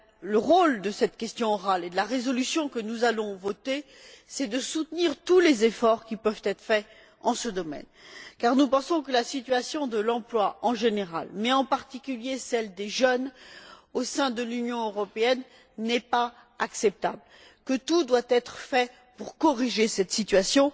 Le rôle de cette question orale et de la résolution que nous allons voter, c'est de soutenir tous les efforts qui peuvent être faits en ce domaine, car nous pensons que la situation de l'emploi, en général, mais, en particulier, celle des jeunes au sein de l'Union européenne n'est pas acceptable, que tout doit être fait pour corriger cette situation